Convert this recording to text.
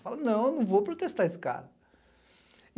Fala, não, eu não vou protestar esse cara.